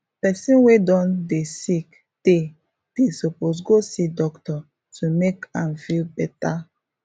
person wey don dey sick tey they suppose go see doctor to make am feel better